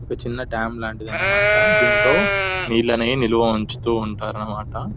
చిన్న టాప్ లాంటిది అన్నమాట దీంట్లో నీళ్లనేవి నిలువు ఉంచుతూ ఉంటారు అన్నమాట.